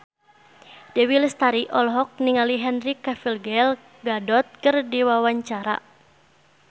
Dewi Lestari olohok ningali Henry Cavill Gal Gadot keur diwawancara